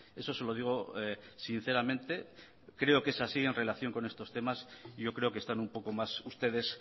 eso se lo digo sinceramente creo que es así en relación con estos temas y yo creo que están un poco más ustedes